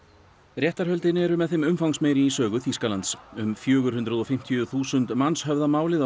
réttarhöldin eru með þeim umfangsmeiri í sögu Þýskalands um fjögur hundruð og fimmtíu þúsund manns höfða málið á